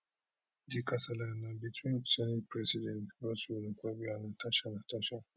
di kasala na between senate president godswill akpabio and senator natasha natasha